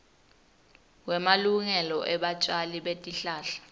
wemalungelo ebatjali betihlahla